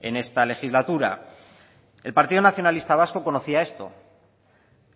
en esta legislatura el partido nacionalista vasco conocía esto